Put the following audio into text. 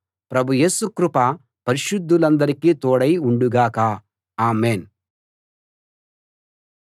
ప్రభు యేసు కృప పరిశుద్ధులందరికీ తోడై ఉండుగాక ఆమేన్‌